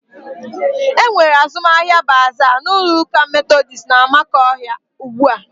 E nwere azụmahịa baaza n'ụlọụka Metodis n'Amakọhia ugbu a.